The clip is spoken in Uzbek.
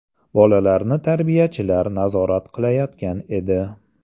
Bolalarni tarbiyachilar nazorat qilayotgan edi.